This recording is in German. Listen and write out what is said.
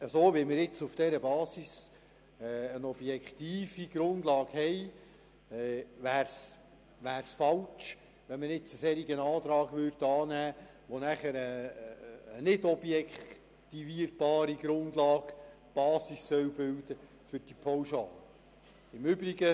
Da wir nun auf dieser Basis eine objektive Grundlage haben, wäre es falsch, einen solchen Antrag anzunehmen, mit dem eine nicht objektivierbare Grundlage die Basis für die Pauschale bilden soll.